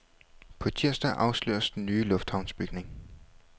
På tirsdag afsløres den nye lufthavnsbygning.